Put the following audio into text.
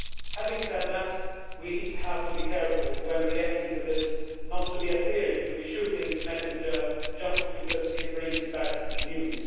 Having said that, we have to be careful when reacting to this, and not appearing to shoot the messenger just because he brings bad news.